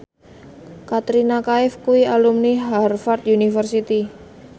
Katrina Kaif kuwi alumni Harvard university